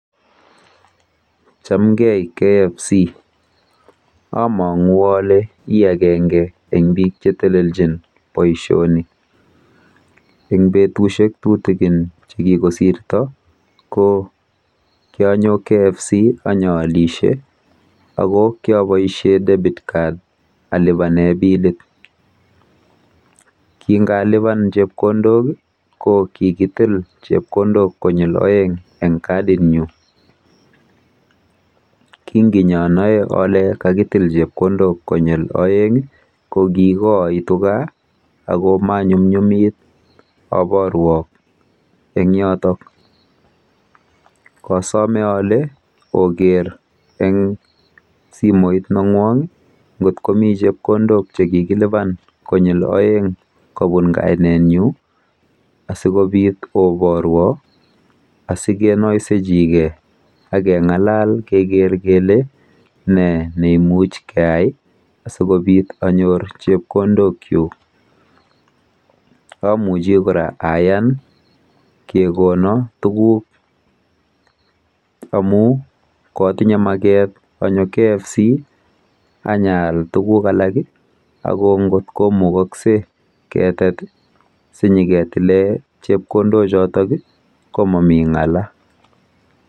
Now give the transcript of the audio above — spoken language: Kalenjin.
Chamgei mising KFC. Amang'u ale i agenge eng bik chetelelchin boisioni. Eng betusiek tutikin chekikosirto ko kianyo KFC anyaalishe ako kiaboisie Debit Card alipane pilit. Kingalipan chepkondok ko kikitil chepkondok konyil oeng eng kadinyu. Kinginyonoei ole kakitil chepkondok konyil oeng ko kikaaitu kaa ako manyumnyumit keborwo eng yoto. Kosome ole oker eng simoit neng'wong nggot komi chepkondok chekikilipan konyil oeng kopun kainetnyu asikobit oborwo akeng'alal kenoisejikei keker kele ne neimuch keyai asikobit anyor chepkondokyuk. Amuchi kora ayan kekono tuguk amu kwotinye maket anyo KFC anyaal tuguk alak ako ngot komukokse ketet sinyiketile chepkondochoto ko momi ng'ala.